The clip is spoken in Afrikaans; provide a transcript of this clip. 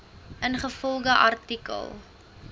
ingevolge artikel